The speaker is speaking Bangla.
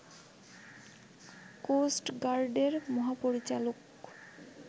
কোস্ট গার্ডের মহাপরিচালক